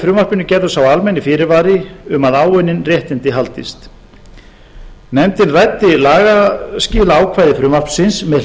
frumvarpinu gerður sá almenni fyrirvari um að áunnin réttindi haldist nefndin ræddi lagaskilaákvæði frumvarpsins með